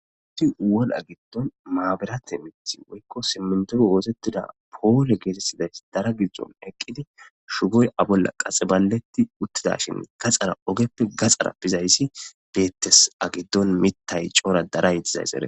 iti woraa giddon maaberate mithi woykko simmentoru woosettida poole geetettiday dara giddzon eqqidi shugoy abolla qaxiballetti uttida shine gaxxara ogeppe gaxara bizayssi beettes agiddon mitay coora dara yixizays ere